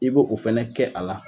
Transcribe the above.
I b'o o fana kɛ a la